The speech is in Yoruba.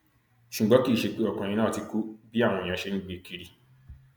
ṣùgbọn kì í ṣe pé ọkùnrin náà ti kú bí àwọn èèyàn ṣe ń gbé e kiri